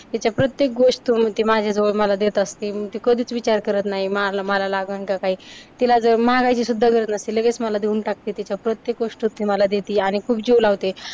तिच्या प्रत्येक गोष्ट माझ्याजवळ मला देत असते, ती कधीच विचार करत नाही. मला लागंल का काही. तिला जर मागायची सुद्धा गरज नसते लगेच मला देऊन टाकते तिच्या प्रत्येक वस्तु ती मला देती. आणि खूप जीव लावते.